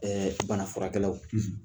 Ɛɛ bana furakɛlaw